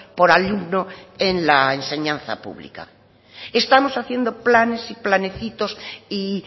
por alumno en la enseñanza pública estamos haciendo planes y planecitos y